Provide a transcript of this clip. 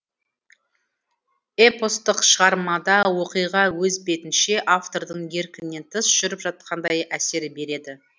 эпостық шығармада оқиға өз бетінше автордың еркінен тыс жүріп жатқандай әсер береді